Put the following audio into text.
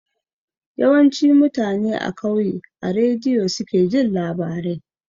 Yawanci mutane a kauye a rediyo suke jin labarai